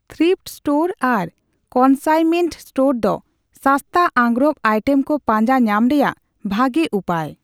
Thrift store ᱟᱨ consignment store ᱫᱚ ᱥᱟᱥᱛᱟ ᱟᱸᱜᱨᱚᱵ ᱟᱭᱴᱮᱢ ᱠᱚ ᱯᱟᱸᱡᱟ ᱧᱟᱢ ᱨᱮᱭᱟᱜ ᱵᱷᱟᱜᱮ ᱩᱯᱟᱹᱭ ᱾